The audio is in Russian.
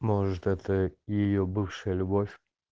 может это её бывшая любовь